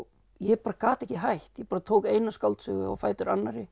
ég bara gat ekki hætt ég bara tók eina skáldsögu á fætur annarri